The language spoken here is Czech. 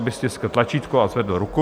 Aby stiskl tlačítko a zvedl ruku.